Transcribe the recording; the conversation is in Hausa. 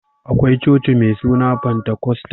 Akwai coci mai suna fantakosta